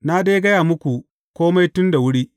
Na dai gaya muku kome tun da wuri.